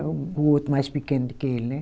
O outro mais pequeno de que ele, né?